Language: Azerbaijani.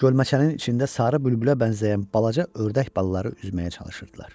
Gölməçənin içində sarı bülbülə bənzəyən balaca ördək balaları üzməyə çalışırdılar.